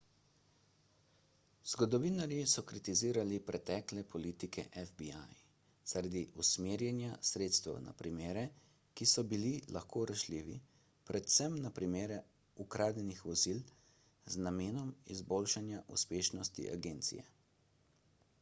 zgodovinarji so kritizirali pretekle politike fbi zaradi usmerjanja sredstev na primere ki so bili lahko rešljivi predvsem na primere ukradenih vozil z namenom izboljšanja uspešnosti agencije